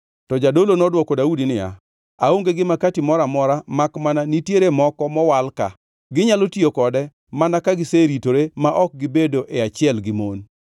To jadolo nodwoko Daudi niya, “Aonge gi makati moro amora makmana nitiere moko mowal ka, ginyalo tiyo kode mana ka giseritore ma ok gibedo e achiel gi mon.”